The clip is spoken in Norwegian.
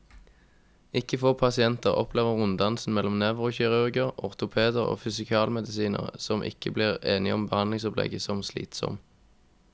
Ikke få pasienter opplever runddansen mellom nevrokirurger, ortopeder og fysikalmedisinere, som ikke blir enige om behandlingsopplegget, som slitsom.